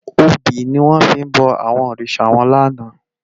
Óbi niwòn fi bò àwòn órisá wán làná